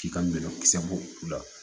K'i ka bɛlɛkisɛ bɔ u la